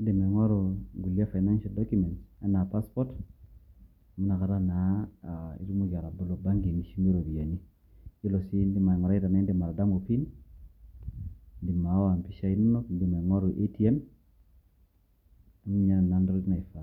edim aing'oru ingulie financial documents enaa passport amu Ina Kata naa aa etumoki atobolo banki nishumie iropiyiani eyiolo sii, edim aing'urai tenaa edim atadamu pin edim aawa empishai inono, edim aing'oru ATM amu ninye entoki naifaa.